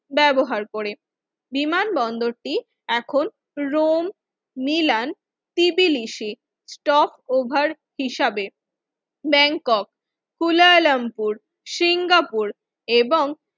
ব্যবহার করে বিমানবন্দরটি এখন রোম মিলান পিভিলিসি টপ ওভার হিসাবে ব্যাংকক কুয়ালালামপুর সিঙ্গাপুর এবং